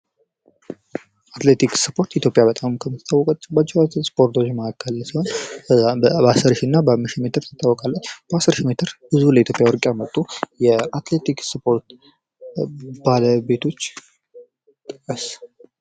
አትሌቲክስ ስፖርት ኢትዮጵያ ከምትታወቅባቸው ስፖርቶች መካከል ሲሆን በጣም በአምስትና በአስር ሺ ሜትር ትታወቃለች። በአስር ሺ ሜትር ብዙ ለኢትዮጵያ ወርቅ ያመጡ የአትሌቲክስ ስፖርት ባለቤቶች።